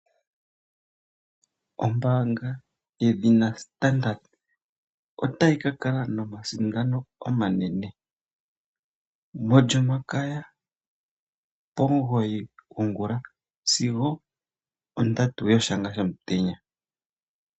Ombanga yedhina Standard otayi ka kala nomasindano omanene molyomakaya okuza pomugoyi gongula sigo ondatu yoshanga shomutenya.